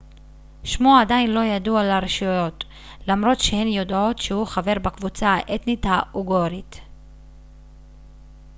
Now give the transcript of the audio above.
שמו עדיין לא ידוע לרשויות למרות שהן יודעות שהוא חבר בקבוצה האתנית האוגורית